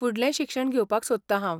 फुडलें शिक्षण घेवपाक सोदतां हांव.